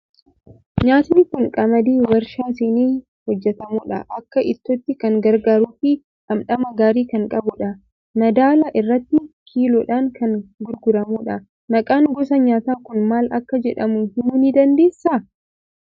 Nyaatni kun qamadii waarshaa seenee hojjetamudha. Akka ittootti kan gargaaruu fi dhamdhama gaarii kan qabudha. Madaala irratti kiiloodhaan kan gurguramudha. Maqaan gosa nyaataa kun maal akka jedhamu himuu ni dandeessaa?